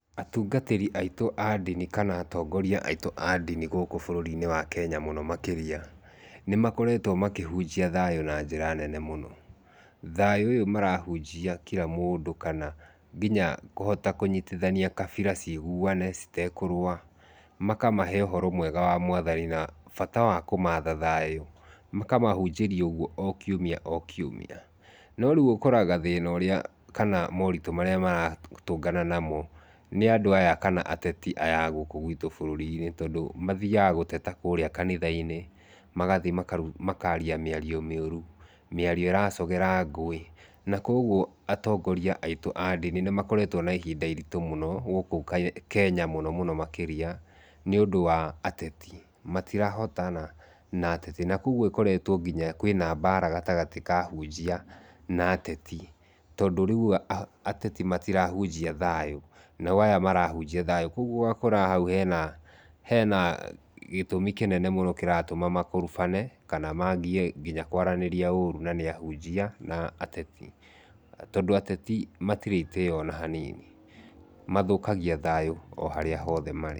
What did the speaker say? Atungatĩrĩ aitũ a ndini kana atongoria aitũ a ndini gũkũ bũruri-inĩ wa Kenya mũno makĩria, nĩ makoretwo makĩhunjia thayũ na njĩra nene mũno. Thayũ ũyũ marahunjia kira mũndũ kana nginya kũhota kũnyitithania kabira ciĩhuane, citekũrũa. Makamahe ũhoro mwega wa Mwathani na bata wa kũmatha thayũ. Makamahunjĩria ũguo o kiumia o kiumia. No rĩu ũkoraga thĩna ũrĩa kana maũritu marĩa maratũngana namo nĩ andũ aya kana ateti aya a gũkũ gwitũ bũrũri-inĩ, tondũ mathiaga gũteta kũrĩa kanitha-inĩ. Magathiĩ makaaria mĩario mĩũru, mĩario ĩracũngĩra ngũĩ. Na kwoguo atongoria aitũ a ndini nĩ makoretwo na ihinda iritũ mũno gũkũ Kenya mũnomũno makĩria nĩũndũ wa ateti. Matirahotana na ateti, na kwoguo ĩkoretwo nginya kwĩna mbara gatagatĩ ka ahunjia na ateti tondũ rĩu ateti matirahunjia thayũ, nao aya marahujia thayũ. Kwoguo ũgakora hau hena hena gĩtũmi kĩnene mũno kĩratũma makorobane kana maambie nginya kũaranĩria ũrũ na nĩ ahunjia na ateti. Tondũ ateti matirĩ itĩo o na hanini, mathũkagia thayũ o harĩa hothe marĩ.